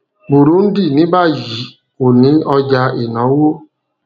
burundi ní báyìí kò ní ọjà ìnáwó